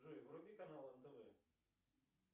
джой вруби канал нтв